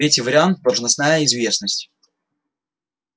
третий вариант должностная известность